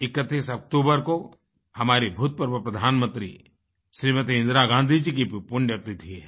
31 अक्तूबर को हमारी भूतपूर्व प्रधानमंत्री श्रीमती इंदिरा गाँधी जी की भी पुण्यतिथि है